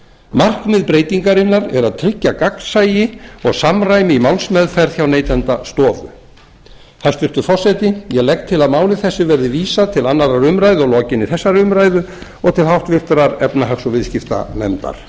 markmið breytingarinnar breytingarinnar er að tryggja gagnsæi og samræmi í málsmeðferð hjá neytendastofu hæstvirtur forseti ég legg til að máli þessu verði vísað til annarrar umræðu að lokinni þessari umræðu og til háttvirtrar efnahags og viðskiptanefndar